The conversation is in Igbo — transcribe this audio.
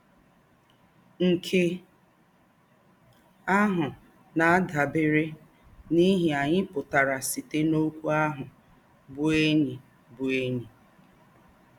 Nkè áhụ̀ na-àdàbèrè n’íhè ányị̀ pụ̀tàrà sītè n’òkwú áhụ̀ bụ́ ‘ényí bụ́ ‘ényí